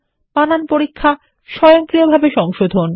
বানান পরীক্ষা স্বয়ংক্রিয়ভাবে সংশোধন